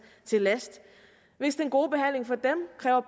til last hvis den gode behandling for dem kræver